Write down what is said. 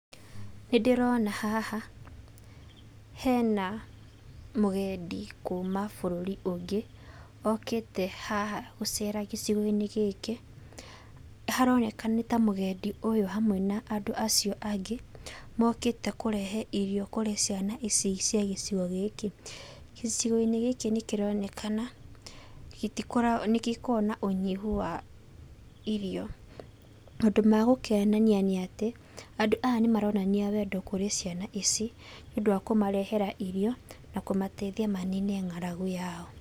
Nĩndĩrona haha hena mũgendi kuma bũrũri ũngĩ okĩte haha gũcera gĩcigo-inĩ gĩkĩ, haroneka ta mũgendi ũyũ hamwe na andũ acio angĩ mokĩte kũrehe irio kũrĩ ciana ici cia gĩcigo gĩkĩ. Gĩcigo-inĩ gĩkĩ nĩkĩronekana nĩgĩkoragwo na ũnyihu wa irio. Maũndũ ma gũkenania, nĩ atĩ andũ aya nĩmaronania wendo kũrĩ ciana ici, nĩũndũ wa kũmarehere irio na kũmateithia manine ng'aragu yao.